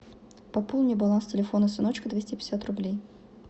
пополни баланс телефона сыночка двести пятьдесят рублей